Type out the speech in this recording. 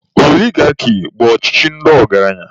Oligaki bụ ọchịchị ndị ọgaranya.